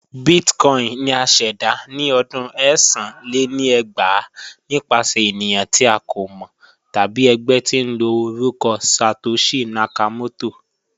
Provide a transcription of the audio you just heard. Bitcoin ni à ṣẹda ni ọdún ẹ̀sán lé ní ẹgbàá nipasẹ̀ ènìyàn ti a kò mọ tabi ẹgbẹ̀ tín ló orúkọ Satoshi Nakamoto